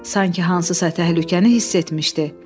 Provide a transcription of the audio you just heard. Sanki hansısa təhlükəni hiss etmişdi.